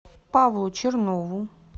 павлу чернову